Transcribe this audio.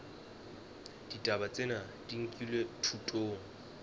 ditaba tsena di nkilwe thutong